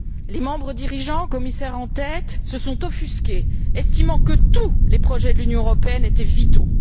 Les membres dirigeants, commissaires en tête, se sont offusqués estimant que tous les projets de l'Union européenne étaient vitaux.